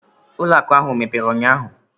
Ụlọ akụ ahụ emepere ụnyaahụ?